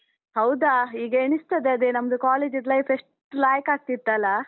ಹೌದಾ, ಈಗ ಎಣಿಸ್ತದೆ ಅದೇ ನಮ್ದು college ಅದ್ದು life ಎಷ್ಟ್ ಲಾಯ್ಕ್ ಆಗ್ತಿತ್ತಲಾ?